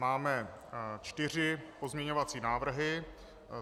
Máme čtyři pozměňovací návrhy.